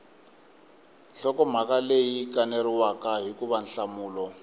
nhlokomhaka leyi kaneriwaka hikuva nhlamulo